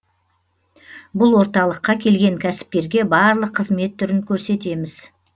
бұл орталыққа келген кәсіпкерге барлық қызмет түрін көрсетем